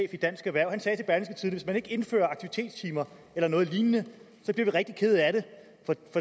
i dansk erhverv hvis man ikke indfører aktivitetstimer eller noget lignende så bliver vi rigtig kede af det